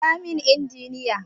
Kira min injiniyan!